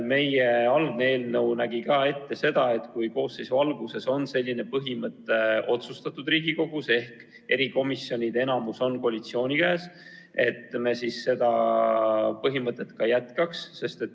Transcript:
Meie algne eelnõu nägi ka ette, et kui koosseisu alguses on selline põhimõte Riigikogus otsustatud ja erikomisjonide enamus on koalitsiooni käes, siis me niimoodi ka jätkaks.